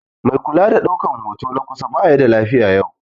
Mai kula da daukan hoto na kusa baya da lafiya yau